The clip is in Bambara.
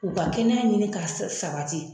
U ka kɛnɛya ɲini ka sabati.